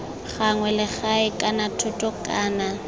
gagwe legae kana thoto kana